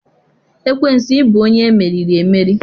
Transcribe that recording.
Ekwensu ị bụ onye emeriri emeri